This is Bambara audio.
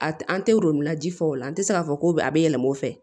A an tɛ woro ji fɔ o la an tɛ se k'a fɔ ko a bɛ yɛlɛma o fɛ